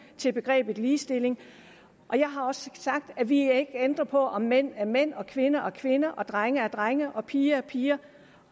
til begrebet ligestilling jeg har også sagt at vi ikke ændrer på at mænd er mænd at kvinder er kvinder at drenge er drenge og at piger er piger